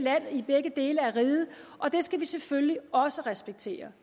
dele af riget og det skal vi selvfølgelig også respektere